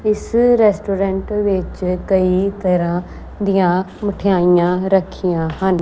ਇਸ ਰੈਸਟੋਰੈਂਟ ਵਿੱਚ ਕਈ ਤਰ੍ਹਾਂ ਦੀਆਂ ਮਠਿਆਈਆਂ ਰੱਖੀਆਂ ਹਨ।